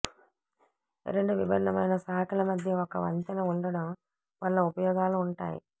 రెండు విభిన్నమైన శాఖల మధ్య ఒక వంతెన ఉండడం వల్ల ఉపయోగాలు ఉంటాయి